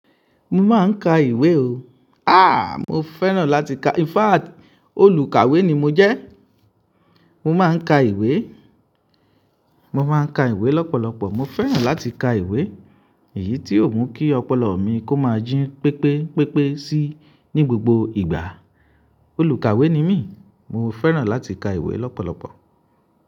Mo máa ń ka ìwé o. Ah! Mo fẹ́ràn láti ka. In fact, olùkàwé ni mo jẹ́. Mo máa ń ka ìwé, mo máa ń ka ìwé lọ́pọ̀lọpọ̀. Mo fẹ́ràn láti ka ìwé, èyí tí ò mú kí ọpọlọ mi kó máa jín pépé pépé sí ní gbogbo ìgbà. Olùkàwé ni mí, mo fẹ́ràn láti ka ìwé lọ́pọ̀lọpọ̀